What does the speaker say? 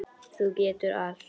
Þú getur allt.